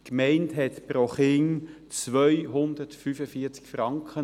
Die Gemeinde übernahm pro Kind 245 Franken.